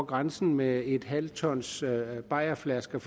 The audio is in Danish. grænsen med et halvt tons bajerflasker